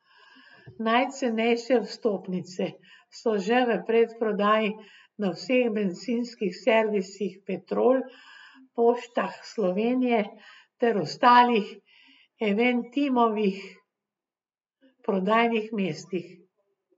Najcenejše vstopnice so že v predprodaji na vseh bencinskih servisih Petrol, Poštah Slovenije ter ostalih Eventimovih prodajnih mestih.